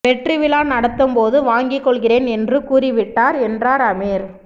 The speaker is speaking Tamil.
வெற்றி விழா நடத்தும்போது வாங்கிக் கொள்கிறேன் என்று கூறி விட்டார் என்றார் அமீர்